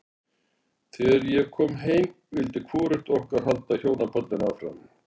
Þegar ég kom heim vildi hvorugt okkar halda hjónabandinu áfram.